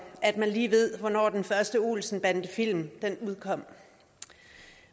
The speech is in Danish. at man lige ved hvornår den første olsenbandefilm udkom